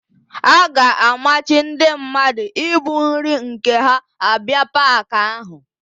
A ga-amachi ndị mmadụ ibu nri nke ha abịa paakị áhụ̀.